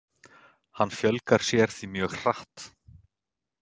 Hann fjölgar sér því mjög hratt.